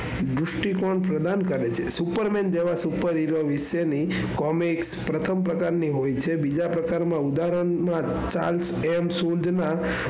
દ્રિષ્ટીકોણ પ્રદાન કરે છે. superman જેવા superhero વિશેની comic પ્રસ્થાન પ્રકાર ની હોય છે બીજા પ્રકાર માં ઉદાહરણ માં સૂંઢ ના,